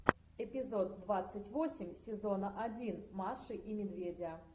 эпизод двадцать восемь сезона один маши и медведя